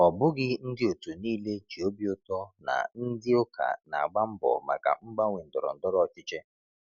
Ọ bụghị ndị otu niile ji obi ụtọ na ndị ụka na-agba mbọ maka mgbanwe ndọrọ ndọrọ ọchịchị.